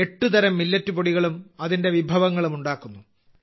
8 തരം മില്ലറ്റ് പൊടികളും അതിന്റെ വിഭവങ്ങളും ഉണ്ടാക്കുന്നു